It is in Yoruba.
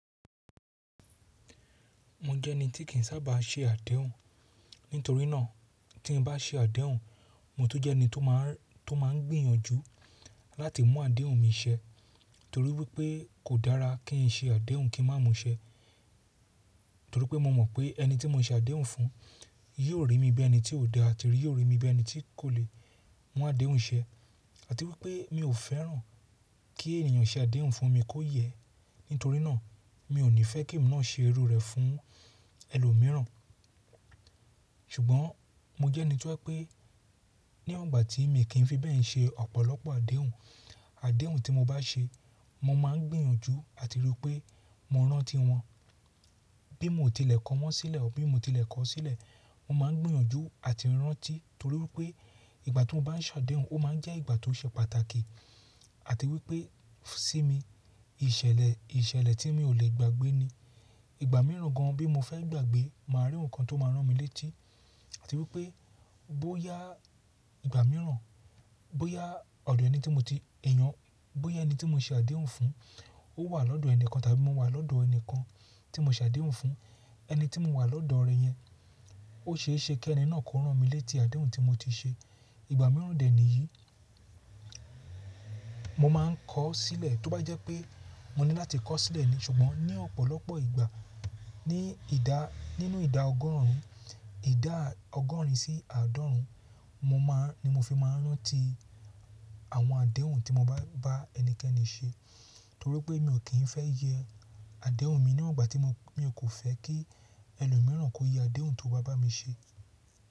Mo jẹ́ ẹni tí kì ń sábà ṣe àdéhùn. Nítorí náà, tí mo bá ṣe àdéhùn, mo tún jẹ́ ẹni tó máa ń, tó máa ń gbìyànjú láti mú àdéhùn mi ṣẹ. Nítorí wípé kò dára kí n ṣe àdéhùn kí má mú ṣẹ. Nítorí pé mo mọ̀ pé ẹni tí mo ṣe àdéhùn fún yóò rí mi bí ẹni tí ò dá àti yóò rí mi bí ẹni tí kò lè mú àdéhùn ṣẹ. Àti wípé mi ò fẹ́ràn kí ènìyàn ṣe àdéhùn fún mi kó yẹ. Nítorí náà mi ò ní fẹ́ kí emi náà ṣe irú rẹ̀ fún ẹlòmíràn. Ṣùgbọ́n mo jẹ́ ẹni ti ó e'pé ní igbà tí mi kì n í fi bẹ́ẹ̀ n ṣe ọ̀pọ̀lọpọ̀ àdéhùn. Àdéhùn tí mo bá ṣe, mo máa ń gbìyànjú àti rí pé mo rántí wọn. Bí mo tilẹ̀ kọ wọ́n sílẹ̀ ọ bí mo tilẹ̀ kọ sílẹ̀, mo máa ń gbìyànjú àti rántí torí wípé ìgbà to n bá ṣe àdéhùn ó máa ń jẹ́ ìgbà tó ṣe pàtàkì. Àti wípé sí mi ìṣẹ̀lẹ̀, ìṣẹ̀lẹ̀ tí mi ò lè gbàgbé ni. Ìgbà mìíràn gan bí mo fẹ́ gbàgbé, màá rí ohun kan tó máa rán mi létí. Àti wípé bóyá ìgbà mìíràn, bóyá ọ̀dọ̀ ẹni tí mo ti yàn, bóyá ẹni tí mo ṣe àdéhùn fún ó wà lọ́dọ̀ ẹnìkan tàbí mo wà lọ́dọ̀ ẹni kan tí mo ṣe àdéhùn fún, ẹni tí mo wà lọ́dọ̀ rẹ̀ yẹn ó ṣeéṣe kí ẹni náà kó rán mi létí àdéhùn tí mo ti ṣe. Ìgbà mìíràn dè é nìyí. Mo máa ń kọ sílẹ̀ tó bá jẹ́ pé mo ní láti kọ sílẹ̀ ni. Ṣùgbọ́n ní ọ̀pọ̀lọpọ̀ ìgbà ní ìdá, nínú ìdá ọgọ́rùn ún, ìdá ọgọ́rùn ún sí àádọ́rùn ún mo máa ni mo fi máa ń rántí àwọn àdéhùn tí mo bá, bá ẹnikẹ́ni ṣe. Torí pé mi ò kín fẹ́ yẹ àdéhùn mi ní ọgbà tí mo, mi ò kò fẹ́ kí ẹlòmíràn kó yẹ àdéhùn tó bá bá mi ṣe.